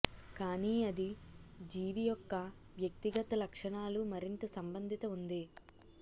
కానీ అది జీవి యొక్క వ్యక్తిగత లక్షణాలు మరింత సంబంధిత ఉంది